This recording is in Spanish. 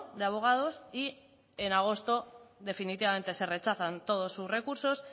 de abogados y en agosto definitivamente se rechazan todos sus recursos